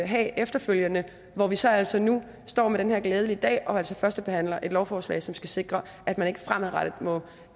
have efterfølgende hvor vi så altså nu står med den her glæde i dag og førstebehandler et lovforslag som skal sikre at man ikke fremadrettet må